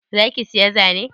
Za ki siya zane?